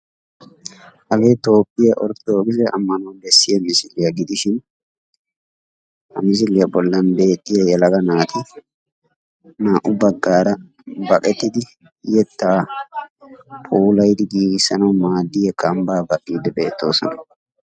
hagee toophphiya orttodokkisse ammanuwa bessiya misiliyaa gidishin ha misiliyaa bollan beettiya yelaga naati naa"u baggara waaxetiddi yetta puulayanaw maadiya kambba baqqide beettoosona.